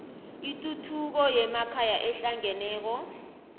ituthuko yemakhaya ehlangeneko